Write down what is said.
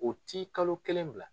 U ti kalo kelen bila.